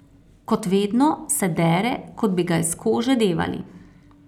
Kot vedno, se dere, kot bi ga iz kože devali.